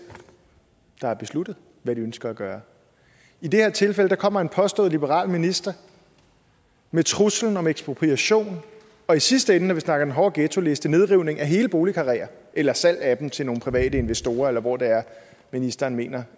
der har besluttet hvad de ønsker at gøre i det her tilfælde kommer en påstået liberal minister med truslen om ekspropriation og i sidste ende når vi snakker den hårde ghettoliste nedrivning af hele boligkarreer eller salg af dem til nogle private investorer eller hvor det er ministeren mener